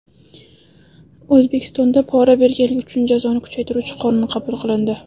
O‘zbekistonda pora berganlik uchun jazoni kuchaytiruvchi qonun qabul qilindi.